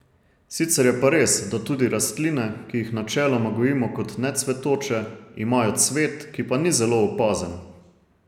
Sicer je pa res, da tudi rastline, ki jih načeloma gojimo kot necvetoče, imajo cvet, ki pa ni zelo opazen.